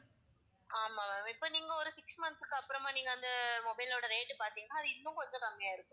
ஆமாம் ma'am இப்ப நீங்க ஒரு six month க்கு அப்புறமா நீங்க அந்த mobile ஓட rate பார்த்தீங்கனா அது இன்னும் கொஞ்சம் கம்மியா ஆகி இருக்கும்